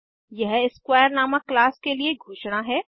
यह स्क्वेयर नामक क्लास के लिए घोषणा है